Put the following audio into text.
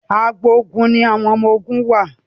àgbò oògùn ní àwọn ọmọ oògùn wá.